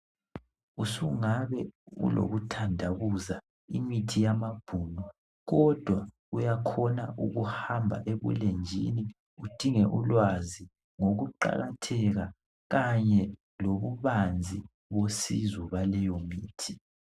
Usungabe ulokuthandabuza, imithi yamabhunu, kodwa uyakhona ukuhamba ebulenjini udinge ulwazi ngikuqakatheka kanye lobubanzi besizo yaleyo mithi.